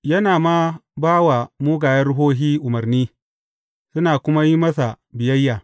Yana ma ba wa mugayen ruhohi umarni, suna kuma yin masa biyayya.